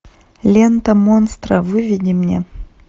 лента монстра выведи мне